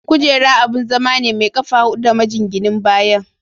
Kujera abun zama ne mai ƙafa hudu da majinginin baya.